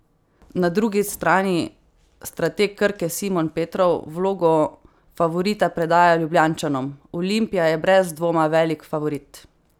Na drugi strani strateg Krke Simon Petrov vlogo favorita predaja Ljubljančanom: "Olimpija je brez dvoma velik favorit.